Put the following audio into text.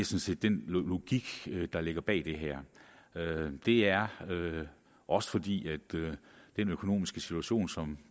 set den logik der ligger bag det her det er også fordi den økonomiske situation som